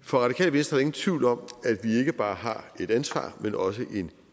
for radikale venstre ingen tvivl om at vi ikke bare har et ansvar men også en